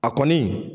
A kɔni